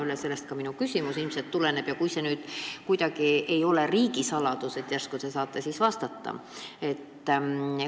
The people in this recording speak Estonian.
Ma loodan, et minu küsimus ei puuduta kuidagi riigisaladust, järsku te saate vastata.